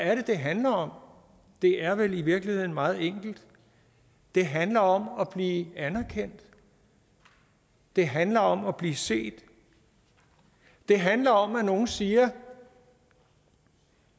er det det handler om det er vel i virkeligheden meget enkelt det handler om at blive anerkendt det handler om at blive set det handler om at nogen siger at